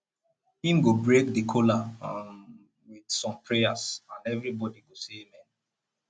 him go break di kola um with som prayers and evribody go say amen